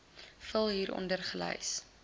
vul hieronder gelys